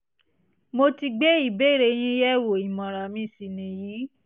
mo ti gbé ìbéèrè yín yẹ̀wò ìmọ̀ràn mi sì nìyí